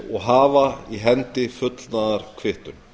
og hafa í hendi fullnaðarkvittun